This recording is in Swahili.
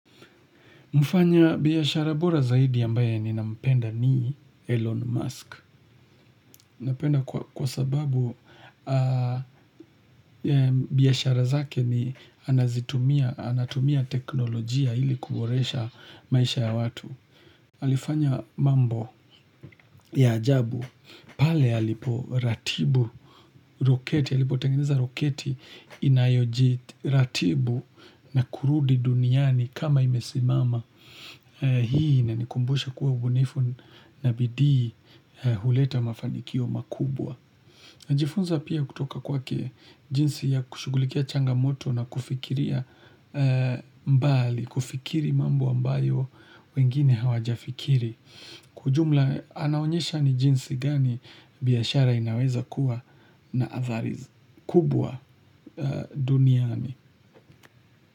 Mfanya biashara bora zaidi ambaye ninampenda ni Elon Musk. Napenda kwa sababu biashara zake ni anazitumia teknolojia ili kuboresha maisha ya watu. Alifanya mambo ya ajabu pale aliporatibu roketi. Alipotengeneza roketi inayojiratibu na kurudi duniani kama imesimama. Hii inanikumbusha kuwa ubunifu na bidii huleta mafanikio makubwa. Najifunza pia kutoka kwake jinsi ya kushughulikia changamoto na kufikiria mbali. Kufikiri mambo ambayo wengine hawajafikiri. Kwa ujumla anaonyesha ni jinsi gani biashara inaweza kuwa na athari kubwa duniani.